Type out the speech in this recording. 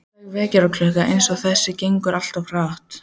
Léleg vekjaraklukka eins og þessi gengur alltaf of hratt